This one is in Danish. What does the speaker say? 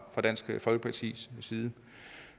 dansk folkepartis side